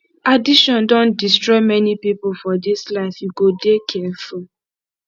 addiction don destroy many pipo for dis life you go dey careful